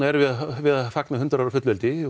erum við að við að fagna hundrað ára fullveldi